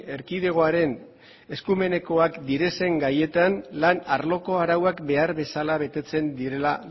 erkidegoaren eskumenekoak diren gaietan lan arloko arauak behar bezala betetzen dira